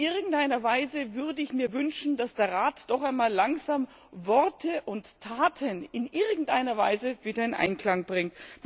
In irgendeiner Weise würde ich mir wünschen, dass der Rat doch einmal langsam Worte und Taten in irgendeiner Weise wieder ein Einklang bringt.